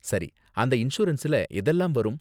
சரி, அந்த இன்சூரன்ஸ்ல எதெல்லாம் வரும்?